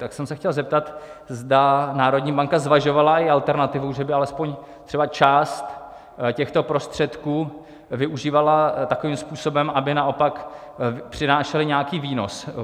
Tak jsem se chtěl zeptat, zda národní banka zvažovala i alternativu, že by alespoň třeba část těchto prostředků využívala takovým způsobem, aby naopak přinášely nějaký výnos.